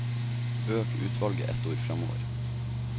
Øk utvalget ett ord framover